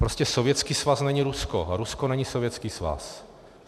Prostě Sovětský svaz není Rusko a Rusko není Sovětský svaz.